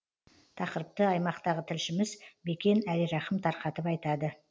тақырыпты аймақтағы тілшіміз бекен әлирахым тарқатып айтады